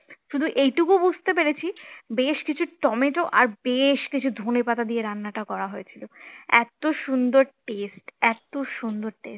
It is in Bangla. শুধু এটুকু বুঝতে পেরেছি বেশ কিছু টমেটো আর বেশ কিছু ধনেপাতা দিয়ে রান্নাটা করা হয়েছিল এত সুন্দর taste এত সুন্দর taste